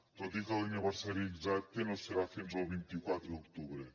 tot i que l’aniversari exacte no serà fins al vint quatre d’octubre